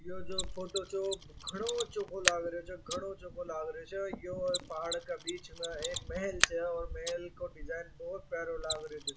यो जो फोटो छो घनो चोखो लागरो सो घनो चोखो लागरो सो यो एक पहाड़ के बीच में एक महल छे और महल को डिज़ाइन बहुत प्यारो लागरो छे।